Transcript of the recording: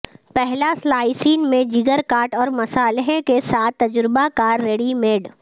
پہلا سلائسین میں جگر کاٹ اور مصالحے کے ساتھ تجربہ کار ریڈی میڈ